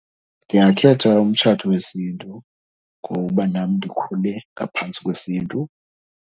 Ndingakhetha umtshato wesiNtu ngoba nam ndikhule ngaphantsi kwesiNtu.